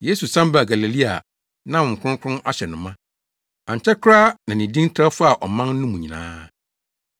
Yesu san baa Galilea a na Honhom Kronkron ahyɛ no ma. Ankyɛ koraa na ne din trɛw faa ɔman no mu nyinaa.